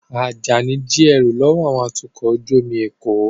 Ajani jí ẹrú lọ́wọ́ àwọn atukọ̀ ojú omi l'Eko